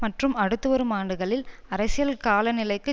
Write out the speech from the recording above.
மற்றும் அடுத்து வரும் ஆண்டுகளில் அரசியல் காலநிலைக்கு